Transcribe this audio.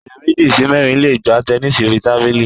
Ẹ̀yàn méjì sí mẹ́rin le gbá tẹnísì orí tábìlì.